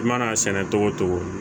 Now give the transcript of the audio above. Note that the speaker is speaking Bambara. I mana sɛnɛ togo togo